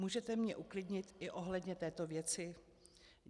Můžete mě uklidnit i ohledně této věci?